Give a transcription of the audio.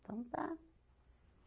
Então tá.